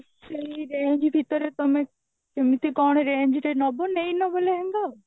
ସେଇ range ଭିତରେ ତମେ କେମତି କଣ range ରେ ନବ ନେଇ ନବ ନହେଲେ